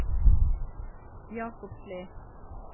Jakobsli